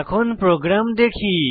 এখন প্রোগ্রাম দেখি